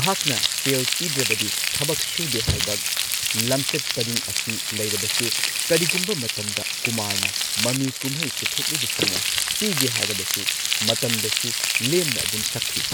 ꯃꯍꯥꯛꯅ ꯁꯦꯜ ꯄꯤꯗ꯭ꯔꯕꯗꯤ, ꯊꯕꯛ ꯁꯨꯗꯦ ꯍꯥꯏꯕ ꯂꯝꯆꯠ ꯄꯔꯤꯡ ꯑꯁꯤ ꯂꯩꯔꯕꯁꯨ, ꯀꯔꯤꯒꯨꯝꯕ ꯃꯇꯝꯗ ꯀꯨꯃꯥꯔꯅ ꯃꯃꯤ ꯀꯨꯝꯍꯩ ꯄꯨꯊꯣꯛꯂꯤꯕꯁꯤꯡꯅ ꯄꯤꯒꯦ ꯍꯥꯢꯔꯕꯁꯨ ꯃꯇꯝꯗꯁꯨ ꯂꯦꯝꯅ ꯑꯗꯨꯝ ꯁꯛꯈꯤ꯫